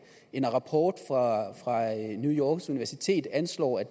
en rapport fra new yorks universitet anslår at